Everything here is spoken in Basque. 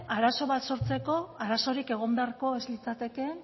arazo bat sortzeko arazorik egon beharko ez litzatekeen